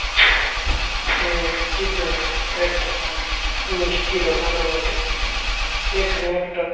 এই চিত্রটা একটা মিষ্টি দোকানের বটে | এখানে একটা--